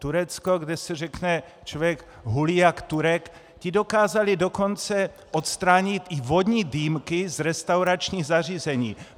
Turecko, kde se řekne, člověk hulí jak Turek, ti dokázali dokonce odstranit i vodní dýmky z restauračních zařízení.